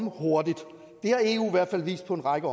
hurtigt det har eu i hvert fald vist på en række